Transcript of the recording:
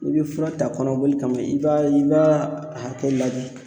N'i be fura ta kɔnɔboli kama i b'a i b'a hakɛ ladi